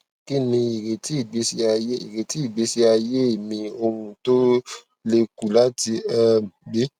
kini ireti igbesi aye ireti igbesi aye mi owun to le ku lati um gbe